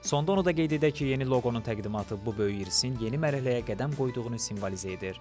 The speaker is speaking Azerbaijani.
Sonda onu da qeyd edək ki, yeni loqonun təqdimatı bu böyük irsin yeni mərhələyə qədəm qoyduğunu simvolizə edir.